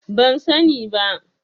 Ban sani ba.